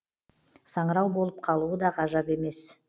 саңырау болып қалуы да ғажап емес